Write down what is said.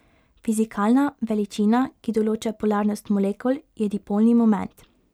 Fizikalna veličina, ki določa polarnost molekul, je dipolni moment.